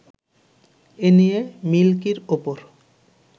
এ নিয়ে মিল্কির ওপর